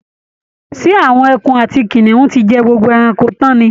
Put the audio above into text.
Ṣé àwọn ẹkun àti kìnìún ti jẹ gbogbo ẹranko tán ni?